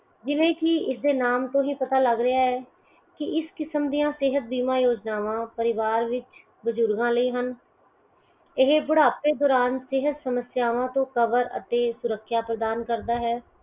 ਜਿਵੇ ਕੀ ਇਸ ਦੇ ਨਾਮ ਤੋਂ ਹੀ ਪਤਾ ਲਗ ਰਿਹਾ ਹੈ ਕੀ ਇਸ ਕਿਸਮ ਦੀਆਂ ਸੇਹਤ ਬੀਮਾ ਯੋਜਨਾਵਾਂ ਪਰਿਵਾਰ ਵਿੱਚ ਬਜੁਰਗਾਂ ਲਈ ਹਨ। ਇਹ ਬੁਢਾਪੇ ਦੌਰਾਨ ਸਿਹਤ ਸਮੱਸਿਆਵਾਂ ਤੋਂ ਸਮੱਸਿਆਂਵਾਂ ਤੋਂ ਕਵਰ ਅਤੇ ਸੁਰਖਿਆ ਪ੍ਰਦਾਨ ਕਰਦਾ ਹੈ।